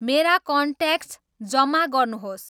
मेरा कन्ट्याक्ट्स जमा गर्नुहोस्